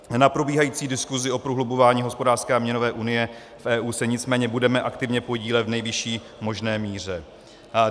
Na probíhající diskusi o prohlubování hospodářské a měnové unie v EU se nicméně budeme aktivně podílet v nejvyšší možné míře.